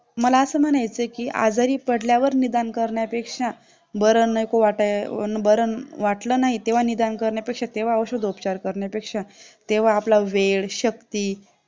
मला असं म्हणायचं की आजारी पडल्यावर निदान करण्यापेक्षा बरं नको वाटल्यावर बरं वाटलं नाही तेव्हा निदान करण्यापेक्षा किंवा औषध उपचार करण्यापेक्षा तेव्हा आपला वेळ शक्ती